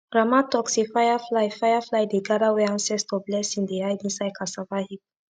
grandma talk say firefly firefly dey gather where ancestor blessing dey hide inside cassava heap